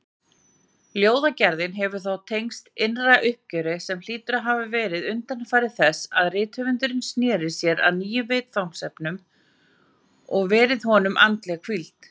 Ljóðagerðin hefur þá tengst innra uppgjöri, sem hlýtur að hafa verið undanfari þess að rithöfundurinn sneri sér að nýjum viðfangsefnum, og verið honum andleg hvíld.